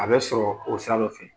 A bɛ sɔrɔ o sira dɔ fɛ